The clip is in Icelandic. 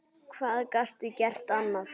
Hvað gastu gert annað?